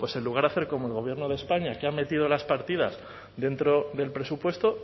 pues en lugar de hacer como el gobierno de españa que ha metido las partidas dentro del presupuesto